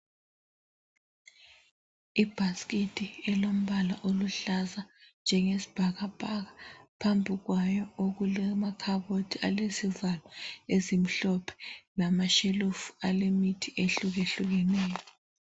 Ibhasikiti elombala oluhlaza njengesibhakabhaka . Phambi kwayo okulamakhabothi alezivalo ezimhlophe lamashelufu alemithi ehlukehlukeneyo.